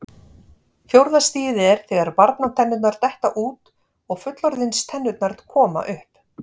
Fjórða stigið er þegar barnatennurnar detta út og fullorðinstennurnar koma upp.